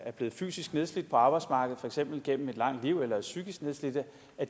blevet fysisk nedslidte på arbejdsmarkedet for eksempel gennem et langt liv eller er psykiske nedslidte